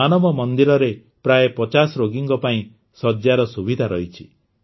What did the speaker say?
ମାନବ ମନ୍ଦିରରେ ପ୍ରାୟ ପଚାଶ ରୋଗୀଙ୍କ ପାଇଁ ଶଯ୍ୟାର ସୁବିଧା ଅଛି